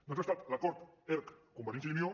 doncs ha estat l’acord erc convergència i unió